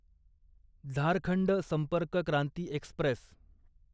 Jharkhand Sampark Kranti Express